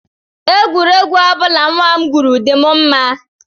Egwuregwu ọ bụla nnwa m gwuru dị m mma